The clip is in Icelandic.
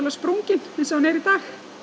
sprunginn eins og hann er í dag